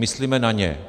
Myslíme na ně.